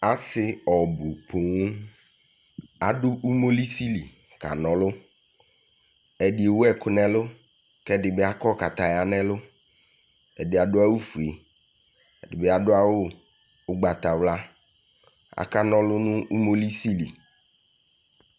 Ase ɔbu pon Ado imolisi li kana ɔlu Ɛde ewu ɛku no ɛlu ko ɛde be akɔ kataya no ɛlu Ɛde ado awufue, ɛde be ado awu ugbatawla Akana ɔlu no umolisi li